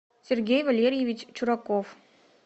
сергей валерьевич чураков